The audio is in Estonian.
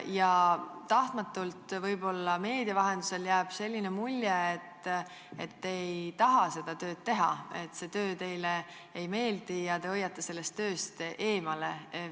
Ja tahtmatult, võib-olla meedia vahendusel, jääb mulje, et te ei taha seda tööd teha, et see töö teile ei meeldi ja te hoiate sellest tööst eemale.